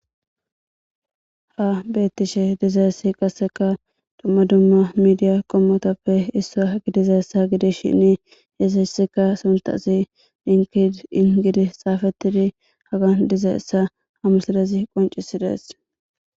Ha beettishe dizayssi qasseka domma dumma midiya qommotappe issa gidiza ssa gidis shinni yesessika suntasi dinkid ingidi xaafettidi haga diza essa hamusadezi qoncisidees